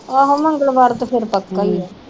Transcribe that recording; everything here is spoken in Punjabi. ਆਹੋ ਮੰਗਲਵਾਰ ਤੇ ਫਿਰ ਪੱਕਾ ਈਆ।